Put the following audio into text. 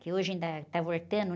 Que hoje ainda tá voltando